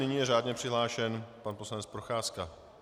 Nyní je řádně přihlášen pan poslanec Procházka.